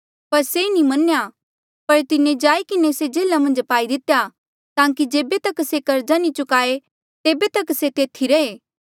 पर से नी मन्या पर तिन्हें जाई किन्हें से जेल्हा मन्झ पाई दितेया ताकि जेबे तक से कर्जा नी चुकाए तेबे तक से तेथी रहे